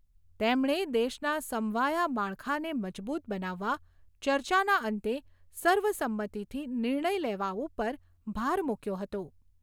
તેમણે દેશના સમવાયા માળખાને મજબૂત બનાવવા ચર્ચાના અંતે સર્વસંમતીથી નિર્ણય લેવા ઉપર ભાર મૂક્યો હતો.